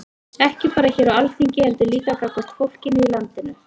Ekki bara hér á Alþingi heldur líka gagnvart fólkinu í landinu?